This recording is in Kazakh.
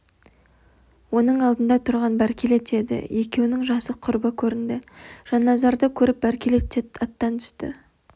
оның алдында тұрған бәркелет еді екеуінің жасы құрбы көрінді жанназарды көріп бәркелет те аттан түсті